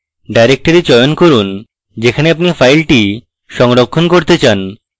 directory চয়ন করুন যেখানে আপনি file সংরক্ষণ করতে চান